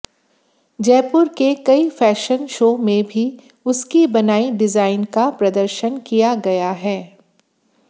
जयपुर के कई fashion show में भी उसकी बनाई डिजाइन का प्रदर्शन किया गया है